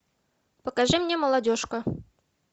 покажи мне молодежка